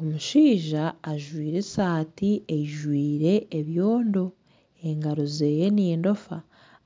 Omushaija ajwaire esaati eyijwire ebyondo engaro ze nendofa